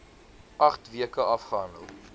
agt weke afgehandel